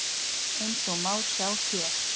Eins og má sjá hér.